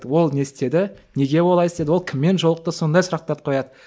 ол не істеді неге олай істеді ол кіммен жолықты сондай сұрқтарды қояды